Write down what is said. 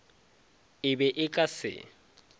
e be e ka se